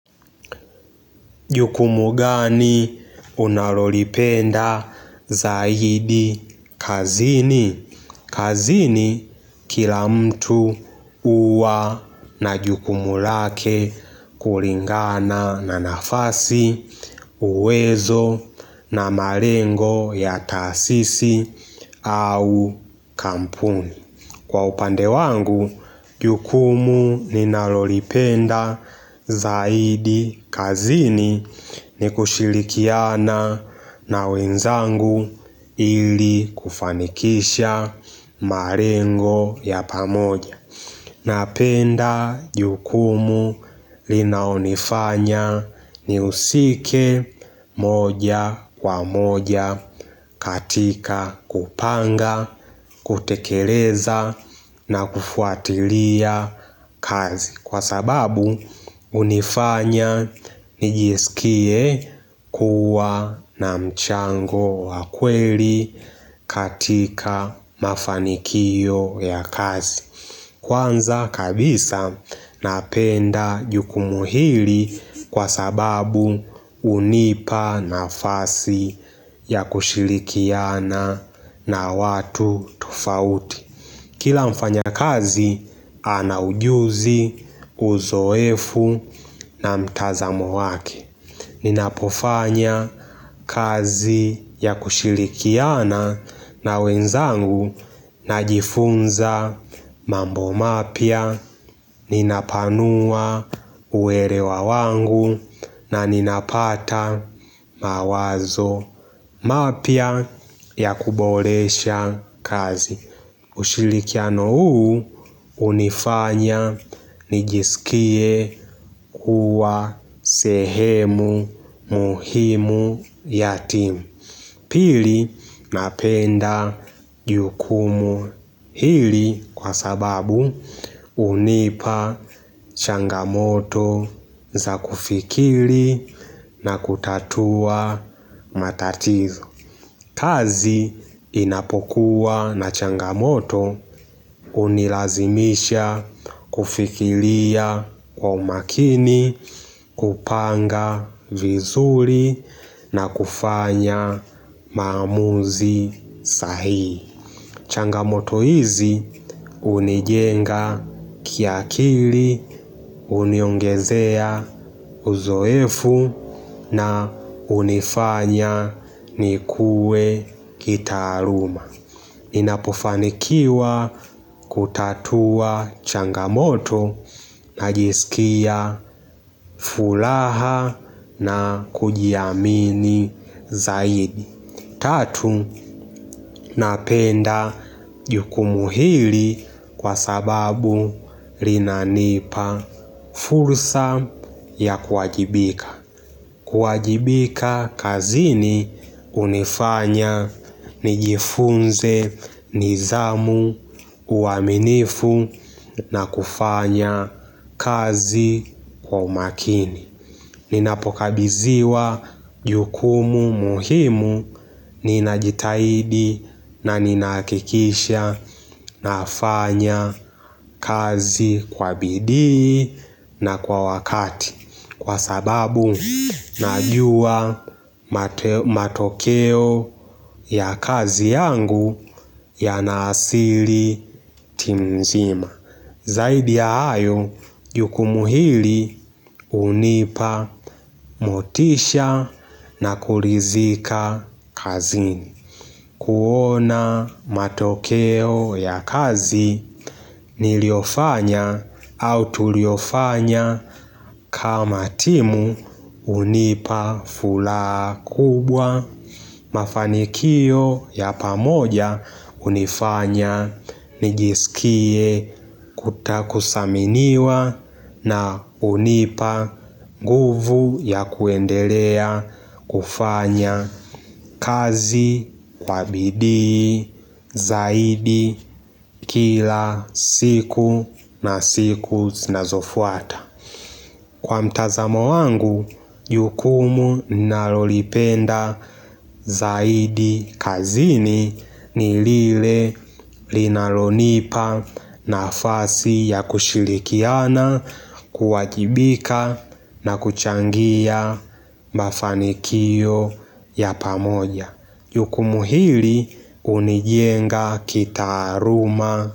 Jukumu gani unalolipenda zaidi kazini? Kazini kila mtu huwa na jukumu lake kulingana na nafasi, uwezo na malengo ya taasisi au kampuni. Kwa upande wangu, jukumu ninalolipenda zaidi kazini ni kushirikiana na wenzangu ili kufanikisha malengo ya pamoja. Napenda jukumu linalonifanya niusike moja kwa moja katika kupanga, kutekeleza na kufuatilia kazi Kwa sababu unifanya nijisikie kuwa na mchango wa kweli katika mafanikio ya kazi Kwanza kabisa napenda jukumu hili kwa sababu unipa nafasi ya kushirikiana na watu tofauti Kila mfanyakazi ana ujuzi uzoefu na mtazamo wake Ninapofanya kazi ya kushirikiana na wenzangu najifunza mambo mapya ninapanua uelewa wangu na ninapata mawazo mapya ya kuboresha kazi ushirikiano huu unifanya nijisikie kuwa sehemu muhimu ya timu Pili napenda jukumu hili kwa sababu unipa changamoto za kufikiri na kutatua matatizo kazi inapokuwa na changamoto unilazimisha kufikiria kwa umakini, kupanga vizuri na kufanya maamuzi sahihi changamoto hizi unijenga kiakili, uniongezea uzoefu na unifanya nikue kitaaluma. Ninapofanikiwa kutatua changamoto najisikia furaha na kujiamini zaidi. Tatu, napenda jukumu hili kwa sababu linanipa fursa ya kuwajibika. Kuwajibika kazini unifanya nijifunze nidhamu, uaminifu na kufanya kazi kwa umakini. Ninapokabidhiwa jukumu muhimu ninajitahidi na ninahakikisha nafanya kazi kwa bidii na kwa wakati, Kwa sababu najua matokeo ya kazi yangu yanaadhiri timu mzima Zaidi ya hayo, jukumu hili unipa motisha na kuridhika kazini. Kuona matokeo ya kazi niliofanya au tuliofanya kama timu unipa furaha kubwa. Mafanikio ya pamoja unifanya nijisikie kudhaminiwa na unipa nguvu ya kuendelea kufanya kazi kwa bidii zaidi kila siku na siku zinazofuata. Kwa mtazamo wangu, jukumu ninalolipenda zaidi kazini ni lile linalonipa nafasi ya kushirikiana, kuwajibika na kuchangia mafanikio ya pamoja. Jukumu hili unijenga kitaaluma.